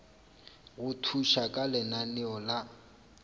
go thuša ka lenaneo la